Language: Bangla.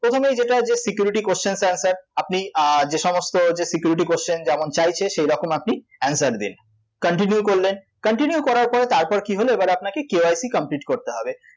প্রথমেই যেটা যে security question answer আপনি যেসমস্ত যে security question যেমন চাইছে সেরকম আপনি answer দিন continue করলেন continue করার পরে তারপর কী হল, এবার আপনাকে KYC complete করতে হবে